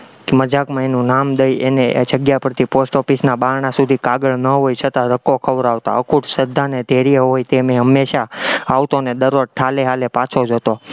મજાકમાં એનું નામ દઈ એને એ જગ્યા પરથી post office ના બારણાં સુધી કાગળ ન હોય છતાં ધક્કો ખવડાવતા, અખૂટ શ્રદ્ધા અને ધૈર્ય હોય તેમ એ હંમેશા આવતો અને ઠાલે ઠાલે પાછો જતો.